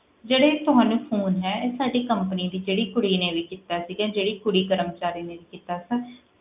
ਜਿਹੜੇ ਤੁਹਾਨੂੰ phone ਹੈ ਇਹ ਸਾਡੀ company ਦੀ ਜਿਹੜੀ ਕੁੜੀ ਨੇ ਵੀ ਕੀਤਾ ਸੀਗਾ, ਜਿਹੜੀ ਕੁੜੀ ਕਰਮਚਾਰੀ ਨੇ ਵੀ ਕੀਤਾ ਸੀ,